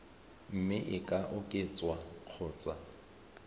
mme e ka oketswa kgotsa